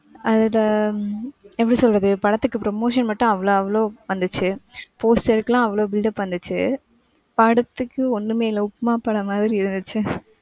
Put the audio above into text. அதுல ஆஹ் எப்படி சொல்றது படத்துக்கு promotion மட்டும் அவளோ, அவளோ வந்துச்சு poster க்கு எல்லாம் அவளோ buildup பண்ணுச்சு, படத்துக்கு ஒன்னுமே இல்ல உப்புமா படம் மாதிரி இருந்ச்சு,